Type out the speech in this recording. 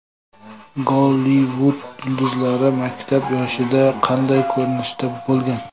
Gollivud yulduzlari maktab yoshida qanday ko‘rinishda bo‘lgan?